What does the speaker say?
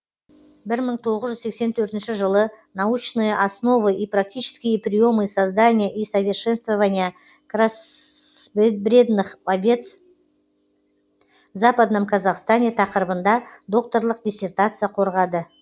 бір мың тоғыз жүз сексен төртінші жылы научные основы и практические приемы создания и совершенствования кроссбредных овец в западном казахстане тақырыбында докторлық диссертация қорғады